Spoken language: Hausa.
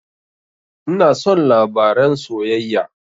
Ina son labaren soyayya